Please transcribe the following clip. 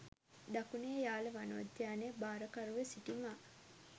දකුණේ යාල වනෝද්‍යානය භාරකරුව සිටි මා